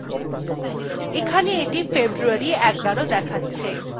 এইটি এখানে february ১১ দেখাচ্ছে